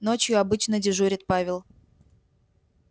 ночью обычно дежурит павел